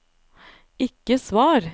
ikke svar